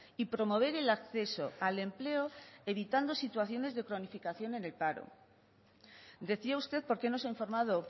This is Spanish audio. y promover el acceso al empleo evitando situaciones de cronificación en el paro decía usted por qué no se ha informado